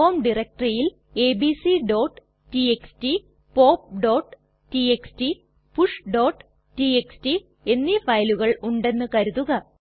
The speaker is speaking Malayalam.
ഹോം ഡയറക്ടറിയിൽ abcടിഎക്സ്ടി popടിഎക്സ്ടി pushടിഎക്സ്ടി എന്നീ ഫയലുകൾ ഉണ്ടെന്ന് കരുതുക